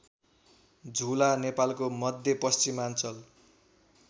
झुला नेपालको मध्यपश्चिमाञ्चल